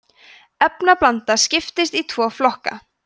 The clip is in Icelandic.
efnablanda skiptist í tvo flokka